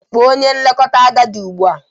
Kpọọ onye nlekọta agadi ugbu a!